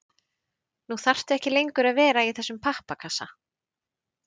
Nú þarftu ekki lengur að vera í þessum pappakassa.